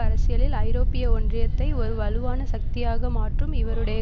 அரசியலில் ஐரோப்பிய ஒன்றியத்தை ஒரு வலுவான சக்தியாக மாற்றும் இவருடைய